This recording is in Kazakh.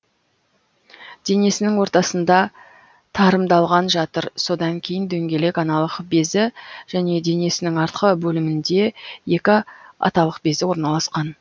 денесінің ортасында тарымдалған жатыр содан кейін дөңгелек аналық безі және денесінің артқы бөлімінде екі аталық безі орналасқан